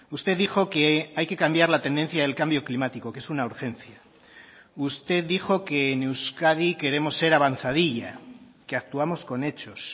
usted dijo que hay que cambiar la tendencia del cambio climático que es una urgencia usted dijo que en euskadi queremos ser avanzadilla que actuamos con hechos